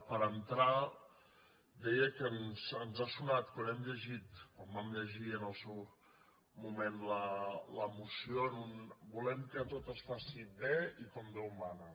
per entrar deia que ens ha sonat quan ho hem llegit quan vam llegir en el seu moment la moció en un volem que tot es faci bé i com déu mana